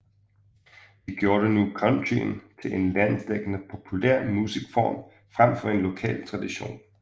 Det gjorde nu countryen til en landsdækkende populær musikform frem for en lokal tradition